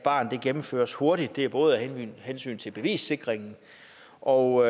barn gennemføres hurtigt både af hensyn til bevissikringen og